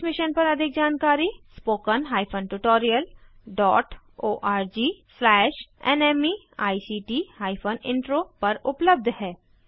इस मिशन पर अधिक जानकारी spoken hyphen tutorial dot org slash NMEICT hyphen intro पर उपलब्ध है